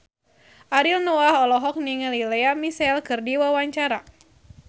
Ariel Noah olohok ningali Lea Michele keur diwawancara